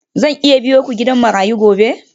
Zan iya biyo ku gidan marayu gobe?